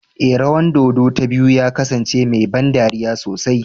Ee, rawan dodo ta biyu ta kasance mai ban dariya sosai